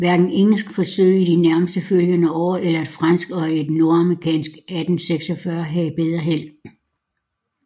Hverken engelske forsøg i de nærmest følgende år eller et fransk og et nordamerikansk 1846 havde bedre held